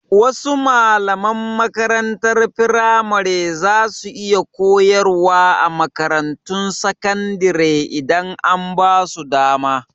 Wasu malaman makarantar firamare za su iya koyarwa a makarantun sakandire idan an basu dama